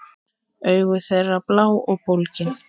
Augu þeirra blá og bólgin.